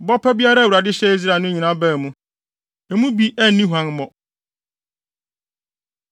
Bɔ pa biara a Awurade hyɛɛ Israel no nyinaa baa mu; emu bi anni huammɔ.